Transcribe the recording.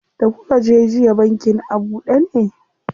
Da kuka je jiya bankin a buɗe ne?